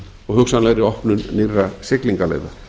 og hugsanlegri opnun nýrra siglingaleiða